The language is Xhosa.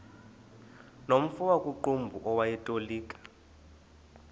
nomfo wakuqumbu owayetolika